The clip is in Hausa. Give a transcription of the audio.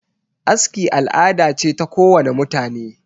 aski al'ada ce ta kowane mutane